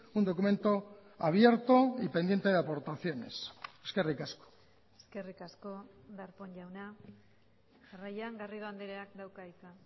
un documento abierto y pendiente de aportaciones eskerrik asko eskerrik asko darpón jauna jarraian garrido andreak dauka hitza